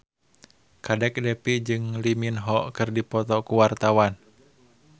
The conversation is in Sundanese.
Kadek Devi jeung Lee Min Ho keur dipoto ku wartawan